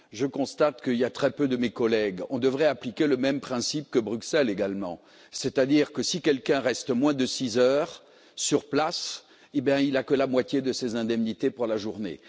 Je constate qu'il y a très peu de mes collègues on devrait appliquer le même principe que Bruxelles également, c'est à dire que si quelqu'un reste moins de six heures sur place, il ne perçoit que la moitié de ses indemnités pour la journée.